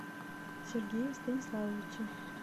сергее станиславовиче